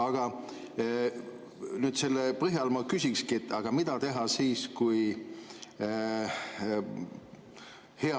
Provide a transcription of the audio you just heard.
Aga nüüd selle põhjal ma küsiksingi.